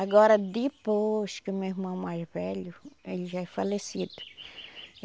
Agora depois que o meu irmão mais velho, ele já é falecido.